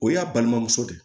O y'a balimamuso de ye